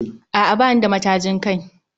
A'a bani da matajin kai